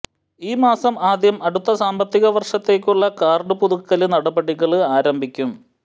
ഈമാസം ആദ്യം അടുത്ത സാമ്പത്തിക വര്ഷത്തേക്കുള്ള കാര്ഡ് പുതുക്കല് നടപടികള് ആരംഭിക്കും